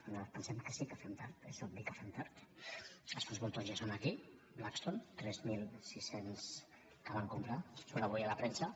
nosaltres pensem que sí que fem tard és obvi que fem tard les fons voltors ja són aquí blackstone tres mil sis cents que van comprar surt avui a la premsa